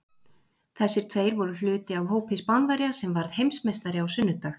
Þessir tveir voru hluti af hópi Spánverja sem varð Heimsmeistari á sunnudag.